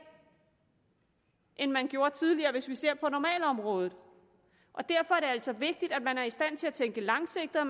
end man gjorde tidligere hvis vi ser på normalområdet og derfor er det altså vigtigt at man er i stand til at tænke langsigtet og